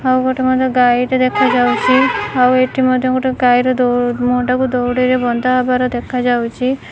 ଆଉ ଗୋଟେ ମଧ୍ୟ ଗାଈଟେ ଦେଖାଯାଉଛି ଆଉ ଏଠି ମଧ୍ୟ ଗୋଟେ ଗାଈର ମୁହଁଟାକୁ ଦଉଡ଼ିରେ ବନ୍ଧାହେବାର ଦେଖାଯାଉଚି।